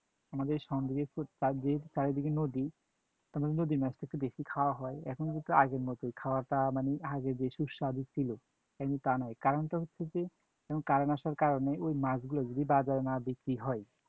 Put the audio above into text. আমাদের চারিদিক~চারিদিকে নদী, তো নদীর মাছটা একটু বেশি খাওয়া হয়, এখন হয়ত আগের মতই খাওয়াটা মানে আগে যে সুস্বাদু ছিল, এখন তা নয়, কারণ হচ্ছে কি এখন current আসার কারণে ঐ মাছগুলো যদি বাজারে না বিক্রি হয়।